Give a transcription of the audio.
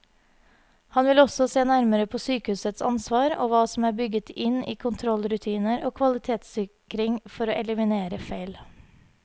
Han vil også se nærmere på sykehusets ansvar og hva som er bygget inn i kontrollrutiner og kvalitetssikring for å eliminere feil.